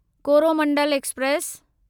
Coromandel express